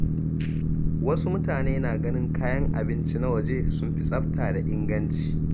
Wasu mutane na ganin kayan abinci na waje sun fi tsafta da inganci.